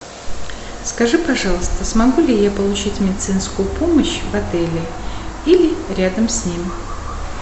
скажи пожалуйста смогу ли я получить медицинскую помощь в отеле или рядом с ним